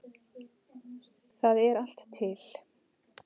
Það er allt til.